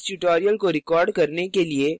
इस tutorial को record करने के लिये